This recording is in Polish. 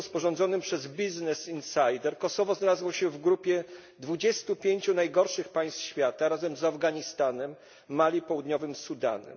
r. sporządzonym przez Business Insider Kosowo znalazło się w grupie 25 najgorszych państw świata, razem z Afganistanem, Mali oraz Południowym Sudanem.